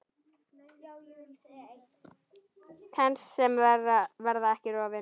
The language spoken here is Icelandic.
Tengsl sem verða ekki rofin.